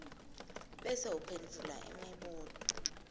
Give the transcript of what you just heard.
bese uphendvula imibuto